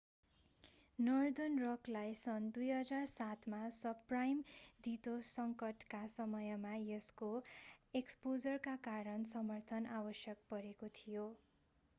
northern रकलाई सन् 2007 मा सबप्राइम धितो सङ्कटका समयमा यसको एक्सपोजरका कारण समर्थन आवश्यक परेको थियो